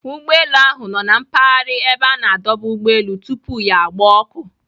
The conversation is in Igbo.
Ụgbọelu ahụ nọ na mpaghara a na-adọba ụgbọelu tupu ya gbaa ọkụ.